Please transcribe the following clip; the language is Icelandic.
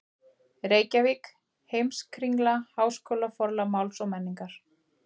Reykjavík: Heimskringla- Háskólaforlag Máls og menningar.